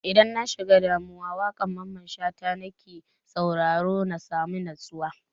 Idan na shiga damuwa, waƙan Mamman Shata na ke sauraro na sami natsuwa.